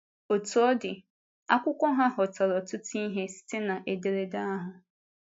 Otú ọ dị, akwụkwọ ha hụtara ọtụtụ ihe site na ederede ahụ.